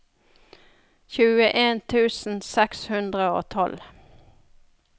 tjueen tusen seks hundre og tolv